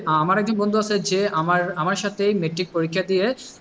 আমার একজন বন্ধু আছে যে আমার সাথেই matric পরীক্ষা দিয়ে,